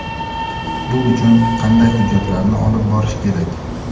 Bu uchun qanday hujjatlarni olib borish kerak?.